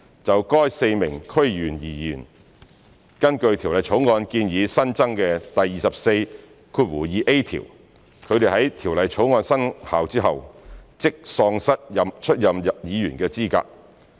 就該4名區議員而言，根據《條例草案》建議新增的第24條，他們在《條例草案》生效後即喪失出任議員的資格。